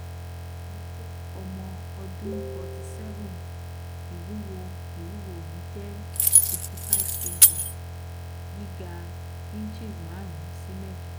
mo je omo um odun um 47 iwuwo iwuwo mi je 55kg giga inches marun si um mejo